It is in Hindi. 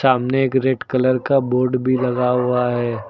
हमने एक रेड कलर का बोर्ड भी लगा हुआ है।